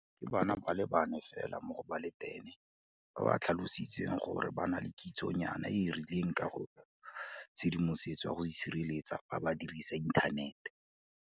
Ke bana ba le bane fela mo go ba le 10 ba ba tlhalositseng gore ba na le kitsonyana e e rileng ka ga tshedimosetso ya go sireletsega fa ba dirisa inthanete.